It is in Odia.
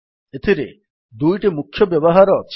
ଏଥିରେ ଦୁଇଟି ମୁଖ୍ୟ ବ୍ୟବହାର ଅଛି